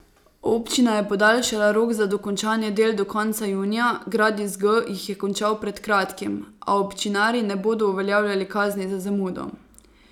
Občina je podaljšala rok za dokončanje del do konca junija, Gradis G jih je končal pred kratkim, a občinarji ne bodo uveljavljali kazni za zamudo.